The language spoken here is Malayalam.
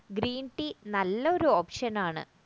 greentea നല്ലൊരു option ആണ്